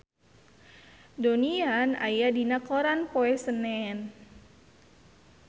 Donnie Yan aya dina koran poe Senen